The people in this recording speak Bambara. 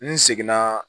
N seginna